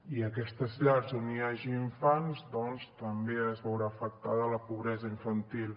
i a aquestes llars on hi hagi infants doncs també es veurà afectada la pobresa infantil